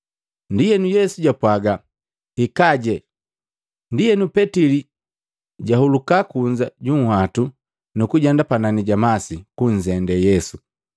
Ndienu Yesu japwaaga, “Hikajee.” Ndienu Petili jahuluka kunza ju nhwatu, nukujenda panani ja masi, kunzende Yesu.